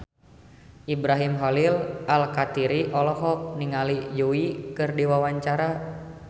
Ibrahim Khalil Alkatiri olohok ningali Yui keur diwawancara